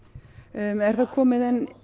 er þá komið